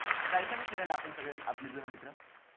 जायचा का फिरायला आपण सगळे आपले जुने मित्र